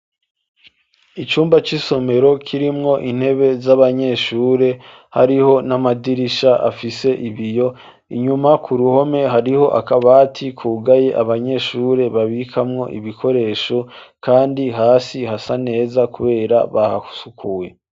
Icumba c'isomero kirimwo intebe z'abanyeshure hariho n'amadirisha afise ibiyo inyuma ku ruhome hariho akabati kugaye abanyeshure babikamwo ibikoresho kandi hasi hasa neza kubera bahasukuwe.